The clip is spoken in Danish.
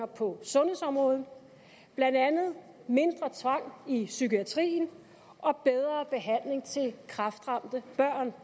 på sundhedsområdet blandt andet mindre tvang i psykiatrien og bedre behandling til kræftramte børn